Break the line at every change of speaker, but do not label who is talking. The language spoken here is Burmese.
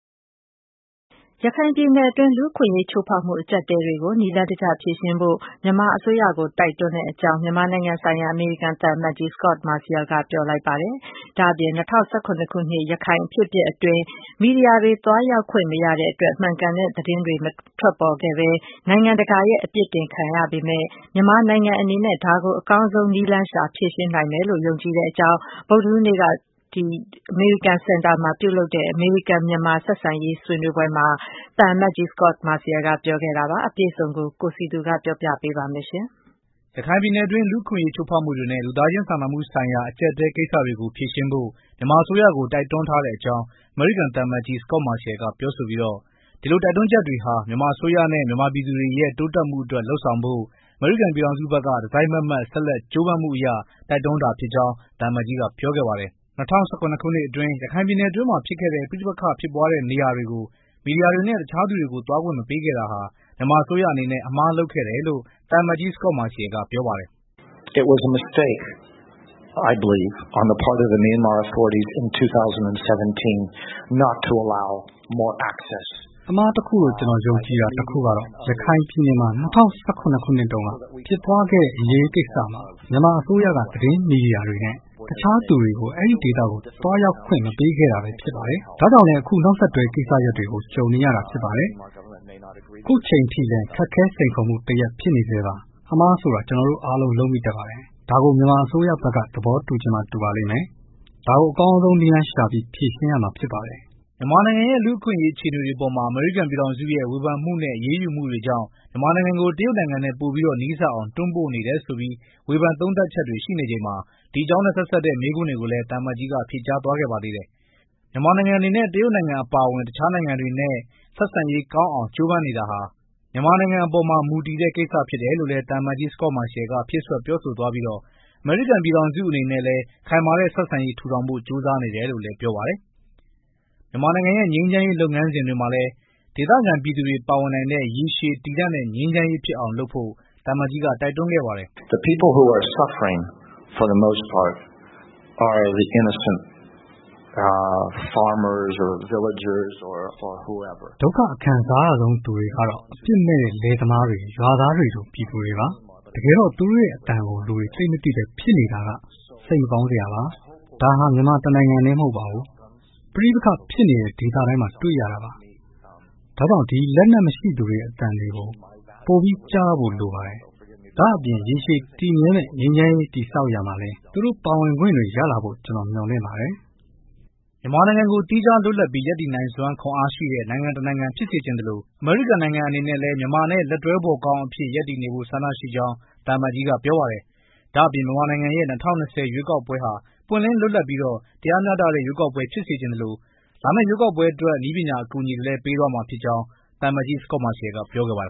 ရခိုင်ပြည်နယ်အတွင်း လူ့အခွင့်အရေးချိုးဖောက်မှုအကျပ်အတည်းတွေကို နည်းလမ်းတကျဖြေ ရှင်းဖို့ မြန်မာအစိုးရကို တိုက်တွန်းကြောင်း မြန်မာနိုင်ငံဆိုင်ရာ အမေရိကန် သံအမတ်ကြီး Scot Marciel ကပြောဆိုလိုက်ပါတယ်။ ဒါအပြင် ၂၀၁၇ ခုနှစ်ရခိုင်အဖြစ်အပျက်အတွင်း မီဒီယာတွေ သွားရောက်ခွင့်မရတဲ့အတွက် မှန်ကန်တဲ့သတင်းတွေ မထွက်ပေါ်ခဲ့ပဲ နိုင်ငံတကာရဲ့ပြစ်တင်ခံနေရပေမယ့် မြန်မာနိုင်ငံအနေနဲ့ ဒါကို အကောင်းဆုံး နည်းလမ်းရှာဖြေရှင်းနိုင်မယ်လို့ ယုံကြည်ကြောင်း ဗုဒ္ဓဟူးနေ့က အမေရိကန်စင်တာမှာပြုလုပ်တဲ့ အမေရိကန်မြန်မာဆက်ဆံရေးဆွေးနွေးပွဲမှာ သံအမတ်ကြီး Scot Marciel ကပြောခဲ့တာပါ။ အပြည့်အစုံကို ကိုစည်သူ တင်ပြပေးမှာပါ။ ရ
ခိုင်ပြည်နယ်အတွင်း လူ့အခွင့်အရေးချိုးဖောက်မှုတွေနဲ့ လူသားချင်းစာနာမှု ဆိုင်ရာ အကြပ်အတည်းကိစ္စကတွေကို ဖြေရှင်းဖို့ မြန်မာအစိုးရကို တိုက်တွန်းပြောဆိုထားတဲ့အကြောင်း သံအမတ်ကြီး Scot Marciel က ပြောဆိုပြီး ဒီလို တိုက်တွန်းချက်တွေဟာ မြန်မာအစိုးရနဲ့ မြန်မာပြည်သူတွေရဲ့ တိုးတက်မှုအတွက် လုပ်ဆောင်ဖို့ အမေရိကန်ပြည်ထောင်စုဘက်က တစိုက်မတ်မတ် ဆက်လက် ကြိုးပမ်းမှုအရ တိုက်တွန်းတာ ဖြစ်ကြောင်း သံအမတ်ကြီး က ပြောခဲ့ပါတယ်။ ၂၀၁၇ ခုနှစ်တုန်းက ရခိုင်ပြည်နယ်အတွင်းမှာဖြစ်ခဲ့တဲ့ ပဋိပက္ခတွေကို မီဒီယာတွေနဲ့ တခြားသူတွေကိုသွားခွင့်မပေးခဲ့တာဟာ မြန်မာအစိုးရအမှားလုပ်ခဲ့တယ်လို့ သံအမတ်ကြီး Scot Marciel ပြောပါတယ်။ “အမှားတစ်ခုလို့ ကျွန်တော်ယုံကြည်တာတစ်ခုကတော့ ရခိုင်ပြည်နယ်မှာ ၂၀၁၇ ခုနှစ်တုန်းက ဖြစ်ပွားခဲ့တဲ့ အရေးကိစ္စမှာ မြန်မာအစိုးရက သတင်းမီဒီယာတွေနဲ့ တခြားသူတွေကို အဲဒီဒေသကို သွားရောက်ခွင့်မပေးခဲ့တာပဲဖြစ်ပါတယ်။ ဒါကြောင့်လည်း အခုနောက်ဆက်တွဲ ကိစ္စရပ်တွေကို ကြုံနေရတာဖြစ်ပါတယ်။ အခုချိန်အထိလည်း ခက်ခဲစိန်ခေါ်မှုတစ်ရပ်ဖြစ်နေဆဲပါ။ အမှားဆိုတာ ကျွန်တော်တို့အားလုံးလုပ်မိတတ်ပါတယ်။ ဒါကို မြန်မာအစိုးရဘက်က သဘောတူချင်မှ တူပါလိမ့်မယ်။ ဒါကို မြန်မာနိုင်ငံက အကောင်းဆုံးနည်းလမ်းရှာဖြေရှင်းနိုင်လိမ့်မယ်လို့လည်း ယုံကြည်ပါတယ်” မြန်မာနိုင်ငံရဲ့ လူ့အခွင့်အရေးအခြေအနေအပေါ် အမေရိကန်ပြည်ထောင်စုရဲ့ ဝေဖန်မှုနဲ့ အရေးယူမှုတွေကြောင့် မြန်မာနိုင်ငံကို တရုတ်နိုင်ငံနဲ့ ပိုပြီး နီးစပ်အောင် တွန်းပို့နေတယ်ဆိုပြီး ဝေဖန် သုံးသပ်ချက်တွေ ရှိနေချိန်မှာ ဒီအကြောင်းနဲ့ သက်ဆိုင်တဲ့ မေးခွန်းကို ပြန်လည်ဖြေကြားသွားတာ ဖြစ်ပါတယ်။ မြန်မာနိုင်ငံအနေနဲ့ တရုတ်နိုင်ငံအပါအဝင် တခြားနိုင်ငံတွေနဲ့ ဆက်ဆံရေးကောင်း အောင်ကြိုးစားတာဟာ မြန်မာနိုင်ငံအပေါ်မှာမူတည်တဲ့ ကိစ္စဖြစ်တယ်လို့လည်း သံအမတ်ကြီး Scot Marciel က ဖြည့်စွက် ပြောဆိုသွားပြီး အမေရိကန်ပြည်ထောင်စုအနေနဲ့လည်း ခိုင်မာတဲ့ ဆက်ဆံရေး ထူထောင်ဖို့ ကြိုးစားနေတယ်လို့ ဆိုပါတယ်။ မြန်မာနိုင်ငံ ငြိမ်းချမ်းရေးလုပ်ငန်းစဉ်မှာလည်း ဒေသခံပြည်သူတွေပါဝင်လာနိုင်တဲ့ ရေရှည်တည်တံ့တဲ့ ငြိမ်းချမ်းရေးဖြစ်အောင် လုပ်ဖို့ တိုက်တွန်းခဲ့ပါတယ်။ “ဒုက္ခအခံစားရဆုံးသူတွေကတော့ အပြစ်မဲ့တဲ့ လယ်သမားတွေ ရွာသားတွေလို ပြည်သူတွေပါ။ တကယ်တော့ သူတို့ရဲ့အသံကို လူတွေ သိပ်မသိပဲဖြစ်နေတာက စိတ်မကောင်းစရာပါ။ ဒါဟာ မြန်မာတစ်နိုင်ငံထဲမဟုတ်ပါဘူး။ ပဋိပက္ခဖြစ်နေတဲ့ ဒေသတိုင်းမှာ တွေ့ရတာပါ၊ ဒါကြောင့် လက်နက်မရှိသူတွေရဲ့ အသံတွေကိုပိုပြီးကြားရဖို့လိုပါတယ်။ ဒါ့အပြင် ရေရှည်တည်မြဲမယ့်ငြိမ်းချမ်းရေး တည်ဆောက်ရာမှာလဲ သူတို့ ပါဝင်ခွင့် တွေ့ရလာဖို့ ကျွန်တော်မျှော်လင့်ပါတယ်။ “ မြန်မာနိုင်ငံကို သီးခြားလွတ်လပ်ပြီးရပ်တည်နိုင်စွမ်းရှိတဲ့ နိုင်ငံတစ်နိုင်ငံဖြစ်စေချင်သလို မြန်မာနိုင်ငံနဲ့လည်း လက်တွဲဖော်ကောင်းအဖြစ်တည်မြဲနေဖို့ ဆန္ဒရှိကြောင်း သံအမတ်ကြီးကပြောပါတယ်။ဒါ့အပြင် မြန်မာနိုင်ငံရဲ့၂၀၂၀ ရွေးကောက်ပွဲဟာ ပွင့်လင်းလွတ်လပ်ပြီး တရားမျှတတဲ့ ရွေးကောက်ပွဲဖြစ်စေချင်သလို ရွေးကောက်ပွဲအတွက် နည်းပညာအကူအညီတွေ ပေးသွားမှာဖြစ်ကြောင်းလည်း ပြောခဲ့ပါတယ်